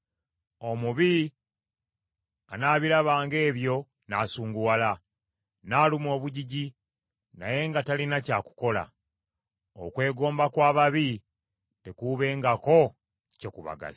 Omubi anaabirabanga ebyo, n’asunguwala, n’aluma abugigi, naye nga talina kya kukola. Okwegomba kw’ababi tekuubengako kye kubagasa.